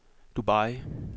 Dubai